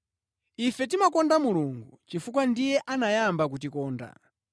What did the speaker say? Ife timakonda Mulungu chifukwa ndiye anayamba kutikonda.